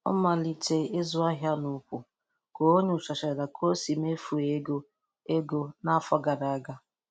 Ọ.malitee ịzụ ahịa.n'ukwu, ka onyochachara ka o si mefuo ego ego n'afọ gara aga.